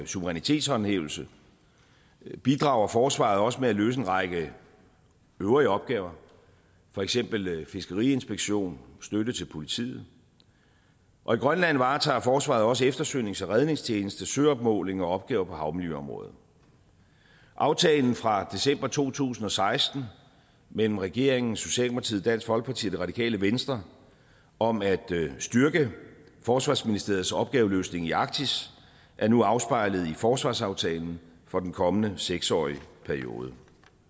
suverænitetshåndhævelse bidrager forsvaret også med at løse en række øvrige opgaver for eksempel fiskeriinspektion støtte til politiet og i grønland varetager forsvaret også eftersøgnings og redningstjeneste søopmåling og opgaver på havmiljøområdet aftalen fra december to tusind og seksten mellem regeringen socialdemokratiet dansk folkeparti og det radikale venstre om at styrke forsvarsministeriets opgaveløsning i arktis er nu afspejlet i forsvarsaftalen for den kommende seks årige periode